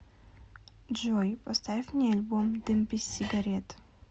джой поставь мне альбом дым без сигарет